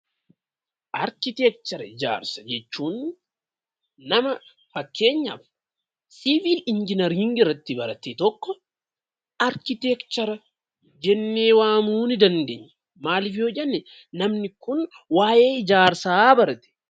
Arkiteekcharii fi ijaarsa jechuun nama fakkeenyaaf siivil injiineriingii irratti barate tokko arkiteekchara jennee waamuu ni dandeenya. Maaliif yoo jenne namni kun waa'ee ijaarsaa barate.